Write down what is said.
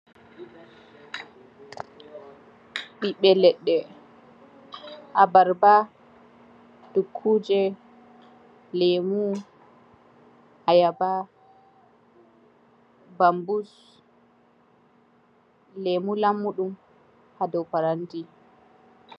Ɓiɓɓe leɗɗe:abarba, dokkuje, lemu, ayaba, banbus, lemu lammuɗum ha dou paranti.